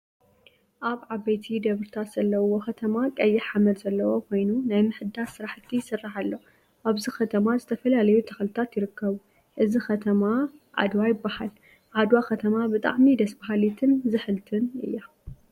ኣብ ዓበይቲ ደብሪታት ዘለዉዎ ከተማ ቀይሕ ሓመድ ዘለዎ ኮይኑ ናይ ምሕዳስ ስራሕቲ ይስራሕ ኣሎ። ኣብዚ ከተማ ዝተፈላለዩ ተክልታት ይርከቡ። እዚ ከተማ ዓድዋ ይበሃል። ዓድዋ ከተማ ብጣዕሚ ደስ በሃሊትን ዝሕልቲን እያ።